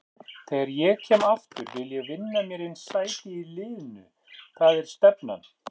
Þegar ég kem aftur vil ég vinna mér inn sæti í liðnu, það er stefnan.